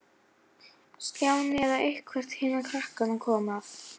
Stjáni eða eitthvert hinna krakkanna kom að.